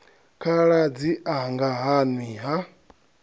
khaladzi anga ha nwi ha